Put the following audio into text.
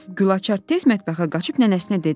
Gülaçar tez mətbəxə qaçıb nənəsinə dedi: